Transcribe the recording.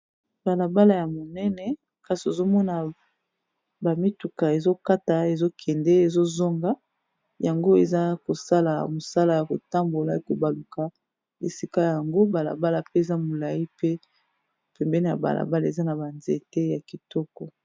Balabala ya monene kasi ozomona ba mituka ezokata ezokende ezozonga yango eza kosala mosala ya kotambola kobaluka esika yango balabala pe eza molai pe pembeni ya balabala eza na ba nzete ya kitoko.